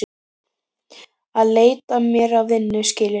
Að leita mér að vinnu, skilurðu.